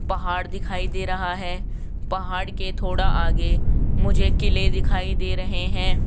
पहाड़ दिखाई दे रहा है पहाड़ के थोड़ा आगे मुझे किले दिखाई दे रहे हैं।